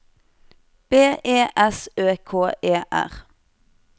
B E S Ø K E R